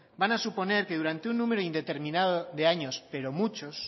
van a suponer que durante un número indeterminado de años pero muchos